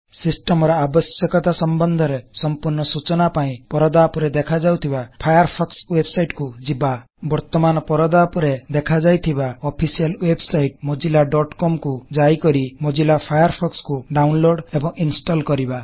ସିଷ୍ଟମର ଆବଶ୍ୟକତା ସମ୍ବନ୍ଧରେ ସମ୍ପୃର୍ଣ ସୂଚନା ପାଇଁ ପରଦା ଉପରେ ଦେଖାଯାଉଥିବା ଫାୟାରଫୋକ୍ସ ୱେବସାଇଟ କୁ ଯିବା 000332 000310 ବର୍ତମାନ ପରଦା ଉପରେ ଦେଖାଯାଇଥିବା official website Mozilla dot com mozillaକମ୍ କୁ ଯାଇକରି ମୋଜ଼ିଲ୍ଲା ଫାୟାରଫୋକ୍ସ କୁ ଡାଉନଲୋଡ ଏବଂ ଇଂସ୍ଟଲ କର